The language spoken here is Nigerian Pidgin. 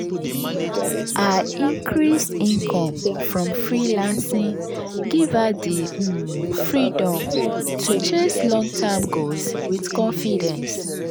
her increased income from freelancing give her di um freedom to chase long-term goals with confidence.